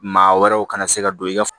Maa wɛrɛw kana se ka don i ka